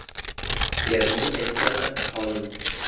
Erning aytgani – qonun.